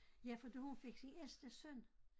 Ja for da hun fik sin ældste søn